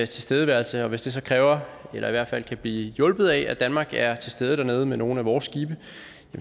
tilstedeværelse og hvis det så kræver eller i hvert fald kan blive hjulpet af at danmark er til stede dernede med nogle af vores skibe